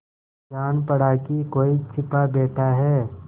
जान पड़ा कि कोई छिपा बैठा है